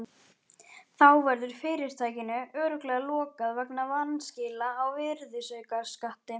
Þá verður fyrirtækinu örugglega lokað vegna vanskila á virðisaukaskatti.